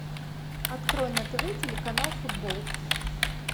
открой на тв телеканал футбол